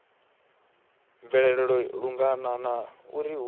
bvelela lungana na uri hu